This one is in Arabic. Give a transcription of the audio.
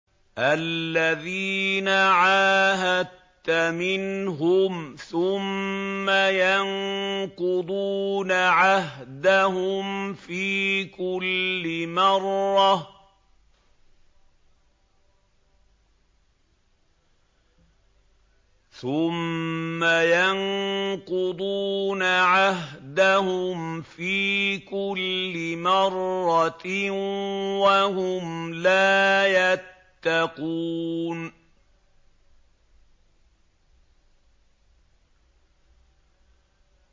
الَّذِينَ عَاهَدتَّ مِنْهُمْ ثُمَّ يَنقُضُونَ عَهْدَهُمْ فِي كُلِّ مَرَّةٍ وَهُمْ لَا يَتَّقُونَ